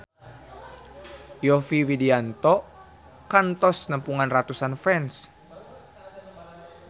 Yovie Widianto kantos nepungan ratusan fans